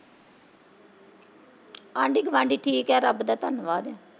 ਆਂਢੀ ਗਵਾਂਢੀ ਠੀਕ ਐ ਰੱਬ ਦਾ ਧੰਨਵਾਦ।